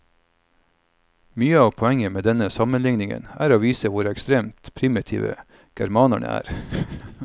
Mye av poenget med denne sammenlikningen er å vise hvor ekstremt primitive germanerne er.